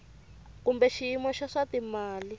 kumbe xiyimo xa swa timali